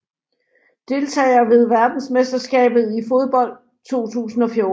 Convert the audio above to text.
Deltagere ved verdensmesterskabet i fodbold 2014